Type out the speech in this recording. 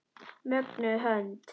Mögnuð hönd.